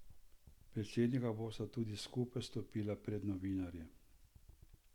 Predsednika bosta tudi skupaj stopila pred novinarje.